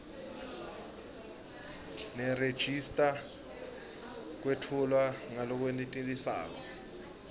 nerejista kwetfulwe ngalokwenetisako